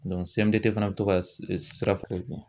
CMDT fana bɛ to ka sira